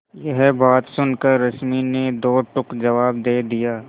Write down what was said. यह बात सुनकर रश्मि ने दो टूक जवाब दे दिया